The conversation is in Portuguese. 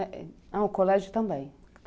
Ah, o colégio também?